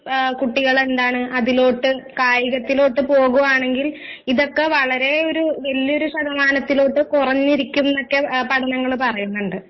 ഏഹ് കുട്ടികളെന്താണ് അതിലോട്ട് കായികത്തിലോട്ട് പോകുവാണെങ്കിൽ ഇതൊക്കെ വളരെ ഒരു വല്യൊരു ശതമാനത്തിലോട്ട് കൊറഞ്ഞിരിക്കുംന്നെക്കെ ഏഹ് പഠനങ്ങള് പറയുന്നുണ്ട്.